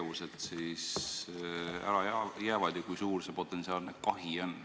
Mis tegevused ära jäävad ja kui suur see potentsiaalne kahi on?